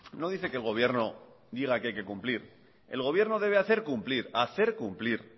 no dice que el gobierno diga que hay que cumplir el gobierno debe hacer cumplir hacer cumplir